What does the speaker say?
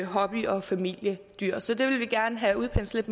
hobby og familiedyr så det vil vi gerne have udpenslet